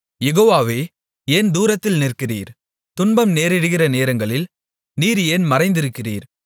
யெகோவாவே ஏன் தூரத்தில் நிற்கிறீர் துன்பம் நேரிடுகிற நேரங்களில் நீர் ஏன் மறைந்திருக்கிறீர்